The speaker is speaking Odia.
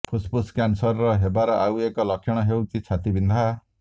ଫୁସଫୁସ୍ କ୍ୟାନସର ହେବାର ଆଉ ଏକ ଲକ୍ଷଣ ହେଉଛି ଛାତି ବିନ୍ଧା